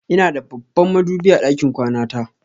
Ina da babban madubi a ɗakin kwana ta.